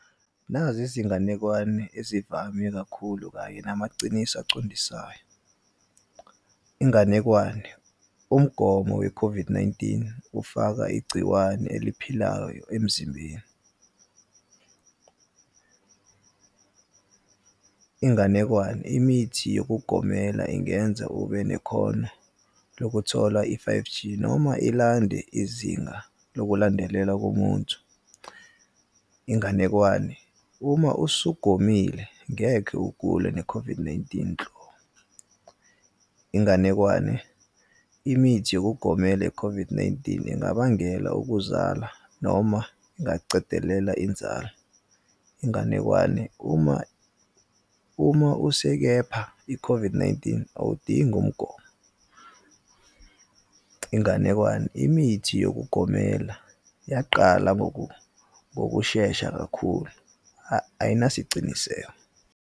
Nazi izinganekwane ezivame kakhulu kanye namaciniso acondisayo. Inganekwane, umgomo we-COVID-19, ufaka igciwane eliphilayo emzimbeni. Inganekwane, imithi yokugomela ingenza ube nekhono lokuthola i-five G noma ilande izinga lokulandelela komuntu. Inganekwane, uma usugomile ngekhe ugule ne-COVID-19 . Inganekwane, imithi yokugomela i-COVID-19 ingabangela ukuzala, noma ingacedelela inzalo. Inganekwane, uma usekepha i-COVID-19 awudingi umgomo. Inganekwane, imithi yokugomela yaqala ngokushesha kakhulu, ayinasiciniseko.